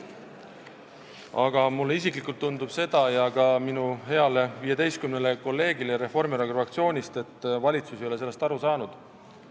Aga mulle isiklikult ja ka minu heale 15 kolleegile Reformierakonna fraktsioonist tundub, et valitsus ei ole sellest aru saanud.